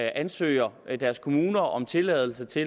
ansøger deres kommuner om tilladelse til